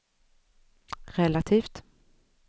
relativt